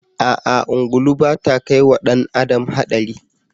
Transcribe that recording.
A'a ungulu ba ta kai wa ɗan adam haɗari